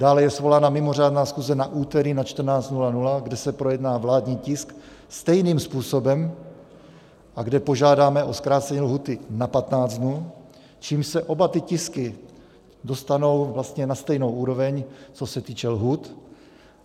Dále je svolána mimořádná schůze na úterý na 14.00, kde se projedná vládní tisk stejným způsobem a kde požádáme o zkrácení lhůty na 15 dnů, čímž se oba ty tisky dostanou vlastně na stejnou úroveň, co se týče lhůt.